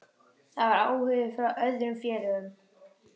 Það var áhugi frá öðrum félögum.